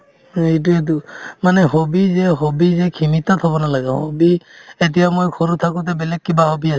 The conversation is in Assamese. এইটোয়েতো মানে hobby যে hobby যে সিমিত থ'ব নালাগে hobby এতিয়া মই সৰু থাকোতে বেলেগ কিবা hobby